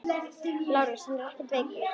LÁRUS: Hann er ekkert veikur.